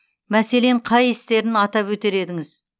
мәселен қай істерін атап өтер едіңіз